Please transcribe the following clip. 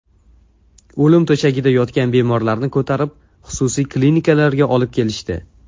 O‘lim to‘shagida yotgan bemorlarni ko‘tarib xususiy klinikalarga olib kelishdi.